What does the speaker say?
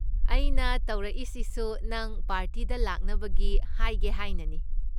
ꯑꯩꯅ ꯇꯧꯔꯛꯏꯁꯤꯁꯨ ꯅꯪ ꯄꯥꯔꯇꯤꯗ ꯂꯥꯛꯅꯕꯒꯤ ꯍꯥꯏꯒꯦ ꯍꯥꯏꯅꯅꯤ꯫